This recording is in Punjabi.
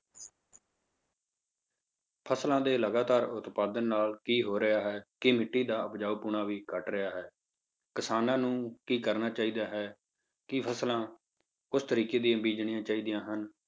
ਫਸਲਾਂ ਦੇ ਲਗਾਤਾਰ ਉਤਪਾਦਨ ਨਾਲ ਕੀ ਹੋ ਰਿਹਾ ਹੈ ਕਿ ਮਿੱਟੀ ਦਾ ਉਪਜਾਊਪੁਣਾ ਵੀ ਘੱਟ ਰਿਹਾ ਹੈ, ਕਿਸਾਨਾਂ ਨੂੰ ਕੀ ਕਰਨਾ ਚਾਹੀਦਾ ਹੈ, ਕਿ ਫਸਲਾਂ ਉਸ ਤਰੀਕੇ ਦੀਆਂ ਬੀਜਣੀਆਂ ਚਾਹੀਦੀਆਂ ਹਨ,